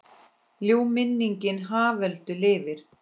Ljúf minning Haföldu lifir.